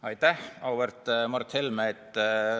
Aitäh, auväärt Mart Helme!